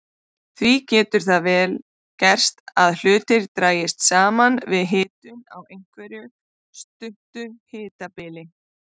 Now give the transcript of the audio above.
Því getur það vel gerst að hlutir dragist saman við hitun á einhverju stuttu hitabili.